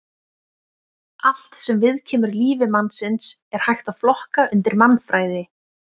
Allt sem viðkemur lífi mannsins er hægt að flokka undir mannfræði.